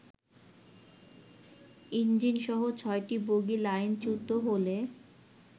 ইঞ্জিনসহ ছয়টি বগি লাইনচ্যুত হলে